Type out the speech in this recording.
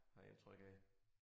Men jeg tror ikke jeg